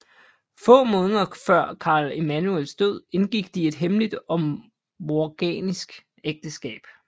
Få måneder før Karl Emanuels død indgik de et hemmeligt og morganatisk ægteskab